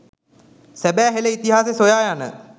සැබෑ හෙල ඉතිහාසය සොයා යන